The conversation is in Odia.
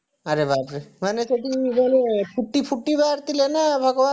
ଆରେ ବାପରେ ମାନେ ସେଠି ମାନେ ଫୁଟି ଫୁଟି ବାହାରିଥିଲେ ନା ଭଗବାନ ନା